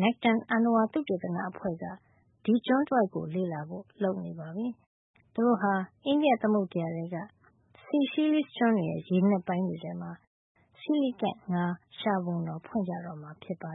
Nekton အဏ္ဏဝါသုတေသန အဖွဲ့က စီရှီလိစ် (Seychelles) ကျွန်းတဝိုက်ကို လေ့လာဖို့ လုပ်နေပါပြီ။ သူတို့ဟာ အိန္ဒိယ သမုဒ္ဒရာထဲက Seychelles ကျွန်းတွေရဲ့ ရေနက်ပိုင်းတွေထဲမှာ coelacanth ငါး ရှာပုံတော် ဖွင့်ကြတော့မှာပါ